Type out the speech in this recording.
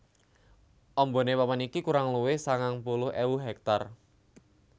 Ambane papan iki kurang luwih sangang puluh ewu hektar